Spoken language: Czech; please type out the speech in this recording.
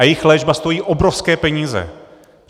A jejich léčba stojí obrovské peníze.